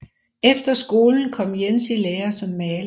Efter skolen kom Jens i lære som maler